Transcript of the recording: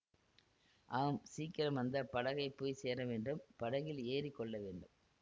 ஆம் சீக்கிரம் அந்த படகைப்போய்ச் சேரவேண்டும் படகில் ஏறி கொள்ளவேண்டும்